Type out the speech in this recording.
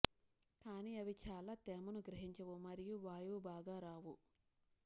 కానీ అవి చాలా తేమను గ్రహించవు మరియు వాయువు బాగా రావు